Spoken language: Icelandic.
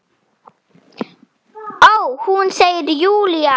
Ó, hún, segir Júlía.